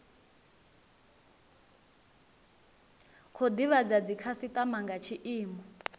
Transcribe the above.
khou divhadza dzikhasitama nga tshiimo